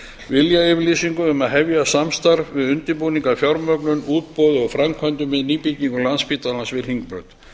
viljayfirlýsingu um að hefja samstarf við undirbúning að fjármögnun útboði og framkvæmdum við nýbyggingu landspítala við hringbraut